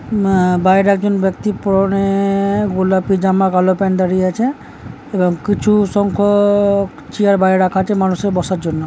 মা বাইরে একজন ব্যক্তির পরে -এ-এ- গোলাপি জামা ভালো প্যান্ট দাঁড়িয়ে আছে এবং কিছু সংখ্য-অ-ক- চিয়ার বাইরে রাখা আছে মানুষের বসার জন্য ।